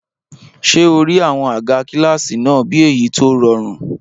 Ṣé o rí àwọn àga kílásì náà bí èyí tó rọrùn?